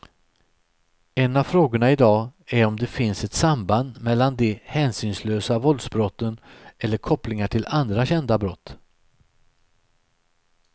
En av frågorna i dag är om det finns ett samband mellan de hänsynslösa våldsbrotten eller kopplingar till andra kända brott.